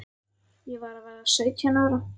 Ég var að verða sautján ára.